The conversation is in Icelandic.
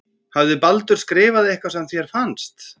Hafði Baldur skrifað eitthvað sem þér fannst.